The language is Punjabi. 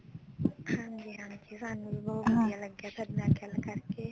ਹਾਂਜੀ ਹਾਂਜੀ ਸਾਨੂੰ ਲੱਗਿਆ ਥੋਡੇ ਨਾਲ ਗੱਲ ਕਰਕੇ